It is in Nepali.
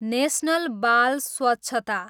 नेसनल बाल स्वछता